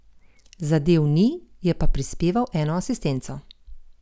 Zadel ni, je pa prispeval eno asistenco.